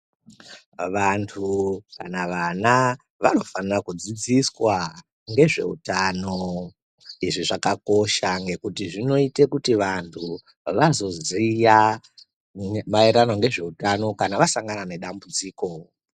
Vantu kana vana vanofana kudzidziswa, ngezveutano. Izvi zvakakosha ngekuti zvinoite kuti vantu, vazoziya maererano ngezveutano, kana vasangana nedambudziko.